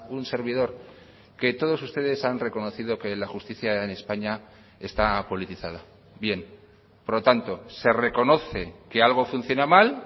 un servidor que todos ustedes han reconocido que la justicia en españa está politizada bien por lo tanto se reconoce que algo funciona mal